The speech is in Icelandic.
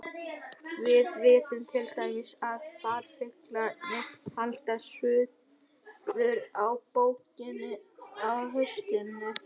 Við vitum til dæmis að farfuglarnir halda suður á bóginn á haustin.